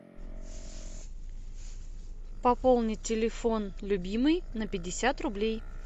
пополнить телефон любимый на пятьдесят рублей